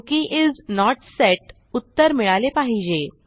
cookie is not set उत्तर मिळाले पाहिजे